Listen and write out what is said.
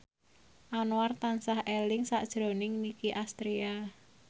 Anwar tansah eling sakjroning Nicky Astria